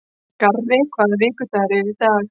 Garri, hvaða vikudagur er í dag?